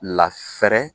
Lafɛrɛ